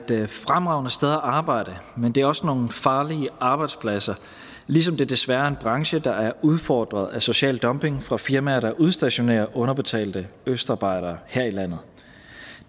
fremragende sted at arbejde men det er også nogle farlige arbejdspladser ligesom det desværre er en branche der er udfordret af social dumping fra firmaer der udstationerer underbetalte østarbejdere her i landet